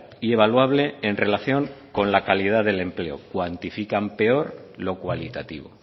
y evaluable en relación con la calidad del empleo cuantifican peor lo cualitativo